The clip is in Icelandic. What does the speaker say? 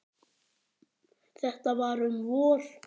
Þetta var um vor.